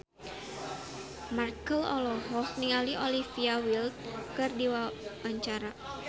Marchell olohok ningali Olivia Wilde keur diwawancara